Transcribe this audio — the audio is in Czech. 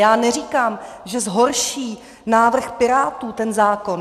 Já neříkám, že zhorší návrh Pirátů ten zákon.